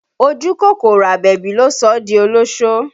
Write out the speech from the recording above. Ojú kòkòrò Àbẹ̀bí ló sọ ọ́ di olósó